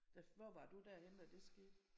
Der hvor var du der henne da det skete?